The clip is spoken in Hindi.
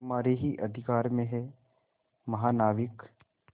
तुम्हारे ही अधिकार में है महानाविक